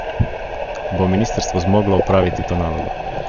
Bo ministrstvo zmoglo opraviti to nalogo?